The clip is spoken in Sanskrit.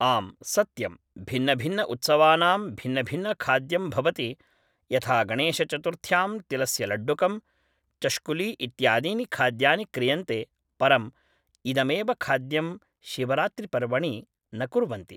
आम् सत्यं भिन्नभिन्न उत्सवानां भिन्नभिन्नखाद्यं भवति यथा गणेशचतुर्थ्यां तिलस्य लड्डुकं, चष्कुली इत्यादीनि खाद्यानि क्रियन्ते परम् इदमेव खाद्यं शिवरात्रिपर्वणि न कुर्वन्ति